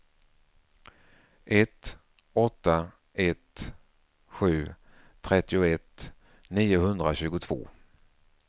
ett åtta ett sju trettioett niohundratjugotvå